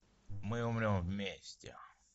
мы умрем вместе